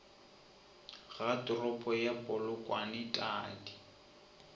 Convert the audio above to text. ga toropo ya polokwane tadi